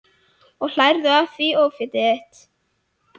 Og hlærðu að því ófétið þitt?